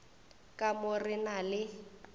ka mo re na le